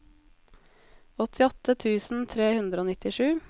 åttiåtte tusen tre hundre og nittisju